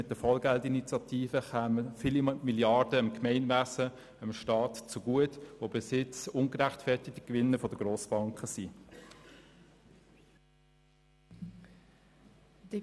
Mit der Vollgeld-Initiative kämen viele Milliarden dem Gemeinwesen und dem Staat zugute, welche bisher ungerechtfertigte Gewinne der Grossbanken sind.